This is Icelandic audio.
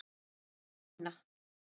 Ekki Kína.